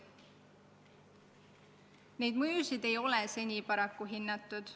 Neid mõjusid ei ole seni paraku hinnatud.